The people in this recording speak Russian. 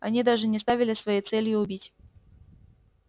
они даже не ставили своей целью убить